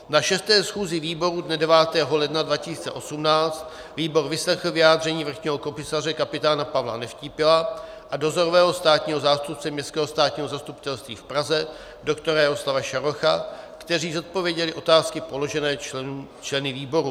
Na 6. schůzi výboru dne 9. ledna 2018 výbor vyslechl vyjádření vrchního komisaře kapitána Pavla Nevtípila a dozorového státního zástupce Městského státního zastupitelství v Praze dr. Jaroslava Šarocha, kteří zodpověděli otázky položené členy výboru.